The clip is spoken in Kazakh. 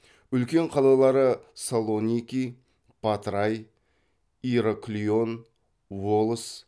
үлкен қалалары салоники патрай ираклион волос